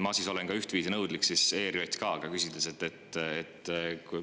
Ma siis olen nõudlik ERJK vastu, küsides,